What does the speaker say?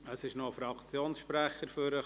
Es ist noch ein Fraktionssprecher aufgetaucht.